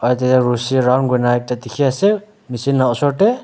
aro tatae rushi round kurina ekta dikhiase machine la osor tae.